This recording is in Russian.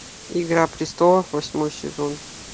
игра престолов восьмой сезон